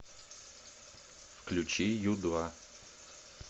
включи ю два